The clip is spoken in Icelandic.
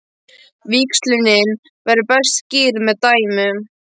Víxlunin verður best skýrð með dæmum.